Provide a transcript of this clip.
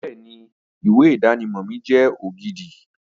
Bẹ́ẹ̀ni, ìwé ìdánimọ̀ mi jẹ́ ògidì